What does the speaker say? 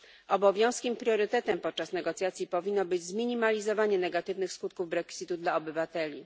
Obowiązkiem i priorytetem podczas negocjacji powinno być zminimalizowanie negatywnych skutków Brexitu dla obywateli.